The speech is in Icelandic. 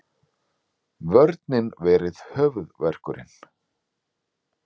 Vörnin verið höfuðverkurinn